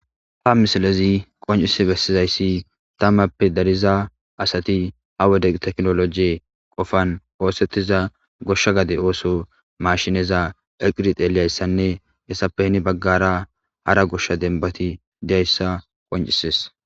ha misalezi qoncise bestizayssi tammappe dariza asati ha wode teknolojee qofan oosettiza goshsha gade ooso mashineza eqirix eeliyayssanne essappehni baggara hara goshsha denbati deyayssa qoncisees.